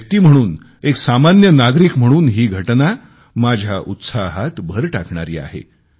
एक व्यक्ती म्हणून एक सामान्य नागरिक म्हणून ही घटना माझ्या उत्साहात भर टाकणारी आहे